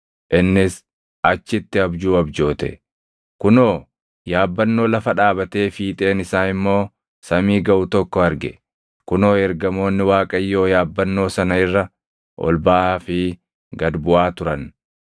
Innis achitti abjuu abjoote; kunoo yaabbannoo lafa dhaabatee fiixeen isaa immoo samii gaʼu tokko arge; kunoo ergamoonni Waaqayyoo yaabbannoo sana irra ol baʼaa fi gad buʼaa turan.